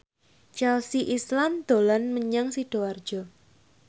Chelsea Islan dolan menyang Sidoarjo